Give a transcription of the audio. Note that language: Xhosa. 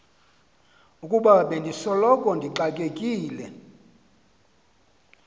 ukuba bendisoloko ndixakekile